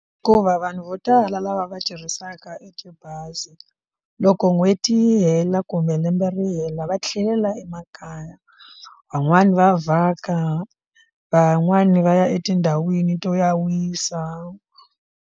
Hikuva vanhu vo tala lava va tirhisaka etibazi loko n'hweti yi hela kumbe lembe ri hela va tlhelela emakaya van'wani va vhaka van'wani va ya etindhawini to ya wisa.